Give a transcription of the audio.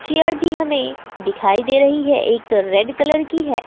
Chair भी हमें दिखाई दे रही है एक रेड कलर की है।